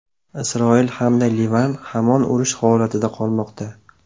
Isroil hamda Livan hamon urush holatida qolmoqda.